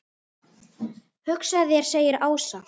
Hugsaðu þér segir Ása.